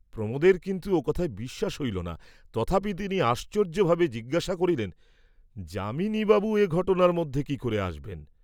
প্রমোদের কিন্তু ও কথায় বিশ্বাস হইল না, তথাপি তিনি আশ্চর্য্যভাবে জিজ্ঞাসা করিলেন, যামিনী বাবু এ ঘটনার মধ্যে কি করে আসবেন?